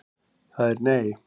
Það er nei.